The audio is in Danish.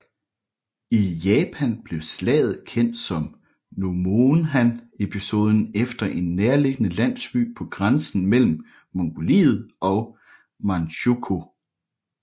I Japan blev slaget kendt som Nomonhan episoden efter en nærliggende landsby på grænsen mellem Mongoliet og Manchukuo